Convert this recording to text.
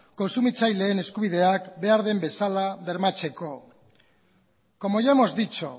kontsumitzaileen eskubideak behar den bezala bermatzeko como ya hemos dicho